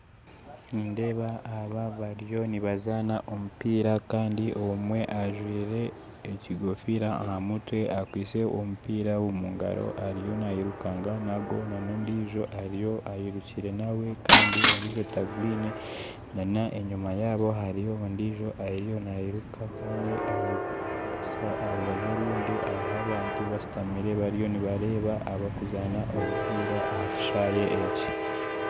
Nindeeba aba bariyo nibazaana omupiira kandi omwe ajwaire ekikofiira aha mutwe akwaitse omupiira omu ngaro ariyo nairukanga nagwo n'ondiijo ariyo nairuka nawe kandi ondiijo tagwine n'enyima yaabo hariyo ondiijo ariyo nairuka kandi aha rubaju orundi hariho abantu bashutami bariyo nibareeba abarikuzaana omupiira aha kishaayi eki